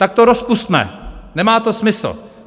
Tak to rozpusťme, nemá to smysl.